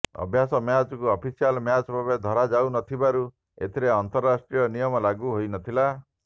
ଅଭ୍ୟାସ ମ୍ୟାଚକୁ official match ଭାବେ ଧରାଯାଉନଥିବାରୁ ଏଥିରେ ଅର୍ନ୍ତରାଷ୍ଟ୍ରୀୟ ନିୟମ ଲାଗୁ ହୋଇନଥିଲା